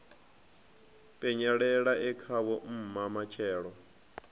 penyelela e khavho mma matshelo